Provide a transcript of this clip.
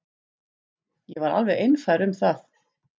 Ég var alveg einfær um það.